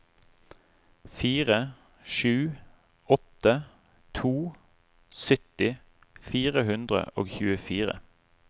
fire sju åtte to sytti fire hundre og tjuefire